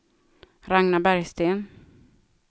Ragnar Bergsten